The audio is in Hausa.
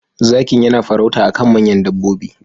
Zakin yana farauta akan manyan dabbobi.